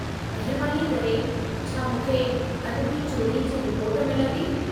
महिरबानी करे, छा मूंखे अदबी चोरीअ जी रिपोर्टु मिलंदी?